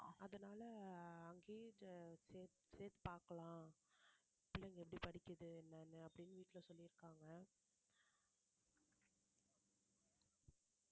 அதனால அங்கேயே சே~ சேத்து பாக்கலாம் பிள்ளைங்க எப்படி படிக்குது என்னன்னு அப்படின்னு வீட்டுல சொல்லியிருக்காங்க